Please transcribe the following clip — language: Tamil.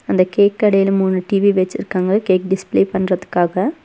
அந்த கேக் கடைல மூனு டி_வி வெச்சிருக்காங்க கேக் டிஸ்ப்ளே பண்றதுக்காக.